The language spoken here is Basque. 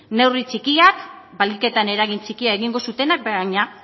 neurri txikiak baliketan eragin txikia egingo zutenak baina